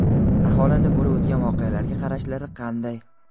Aholini bo‘lib o‘tgan voqealarga qarashlari qanday?.